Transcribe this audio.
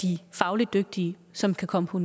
de fagligt dygtige som kan komme på